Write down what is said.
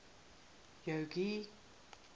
jogee